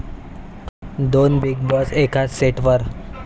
दोन 'Bigg Boss' एकाच सेटवर